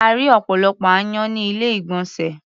A rí́ ọ̀pọ̀lọpọ̀ aáyán ní ilé-ìgbọ̀nsè.